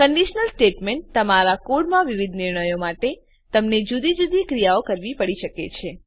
conditional statements તમારા કોડમાં વિવિધ નિર્ણયો માટે તમને જુદી જુદી ક્રિયાઓ કરવી પડી શકે છે